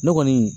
Ne kɔni